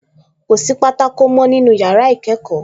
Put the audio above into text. Kò sí pátákó mọ́ nínú yàrá ìkẹ́kọ̀ọ́